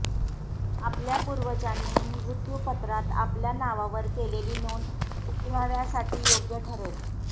आपल्या पूर्वजांनी मृत्युपत्रात आपल्या नावावर केलेली नोंद पुराव्यासाठी योग्य ठरेल